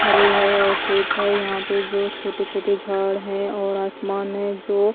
भरे है और खेत है यहां पे जो छोटे-छोटे झाड़ हैं और आसमान है जो--